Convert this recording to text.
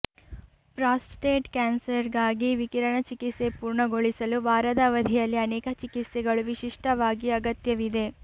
prostate ಕ್ಯಾನ್ಸರ್ಗಾಗಿ ವಿಕಿರಣ ಚಿಕಿತ್ಸೆ ಪೂರ್ಣಗೊಳಿಸಲು ವಾರದ ಅವಧಿಯಲ್ಲಿ ಅನೇಕ ಚಿಕಿತ್ಸೆಗಳು ವಿಶಿಷ್ಟವಾಗಿ ಅಗತ್ಯವಿದೆ